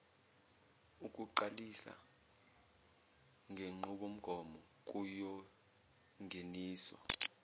ukuqalisa ngenqubomgomo kuyongeniswa